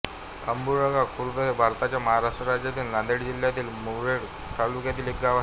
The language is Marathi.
आंबुळगा खुर्द हे भारताच्या महाराष्ट्र राज्यातील नांदेड जिल्ह्यातील मुखेड तालुक्यातील एक गाव आहे